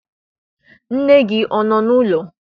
Nne gị ọ nọ n'ụlọ?